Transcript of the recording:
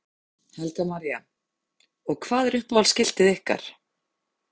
Helga María: Og hvað er uppáhalds skiltið ykkar?